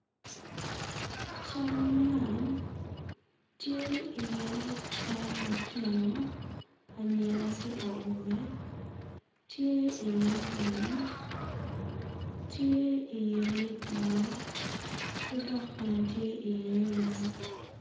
Cal man tye iye cal lutino anyira ki awobe tye iye lum tye iye di yo ki dok bene tye iye yen.